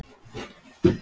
Það þarf að þvo þvott og.